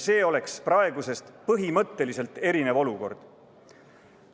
See oleks praegusest põhimõtteliselt erinev olukord.